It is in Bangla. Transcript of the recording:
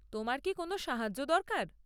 তোমার কি কোনও সাহায্য দরকার?